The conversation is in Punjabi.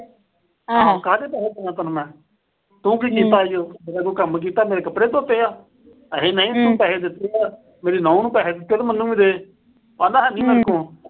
ਕਾਹਦੇ ਪੈਸੇ ਦੇਵਾਂ ਤੈਨੂੰ ਮੈਂ। ਤੂੰ ਕੀ ਕੀਤਾ ਈ ਓ। ਮੇਰਾ ਕੋਈ ਕੰਮ ਕੀਤਾ। ਮੇਰੇ ਕੱਪੜੇ ਧੋਤੇ ਆ। ਅਖੇ ਨਹੀਂ, ਤੂੰ ਪੈਸੇ ਦਿੱਤੇ ਆ। ਮੇਰੀ ਨੂੰਹ ਨੂੰ ਪੈਸੇ ਦਿੱਤੇ ਆ ਤਾਂ ਮੈਨੂੰ ਵੀ ਦੇ। ਉਹ ਆਂਹਦਾ ਹੈ ਨਹੀਂ, ਮੇਰੇ ਕੋਲ।